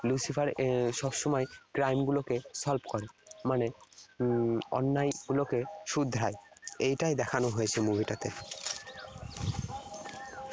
Lucifer এর সবসময় crime গুলোক solve করে। মানে উম অন্যায় গুলোকে শুধরায়। এইটাই দেখানো হয়েছে movie টাতে।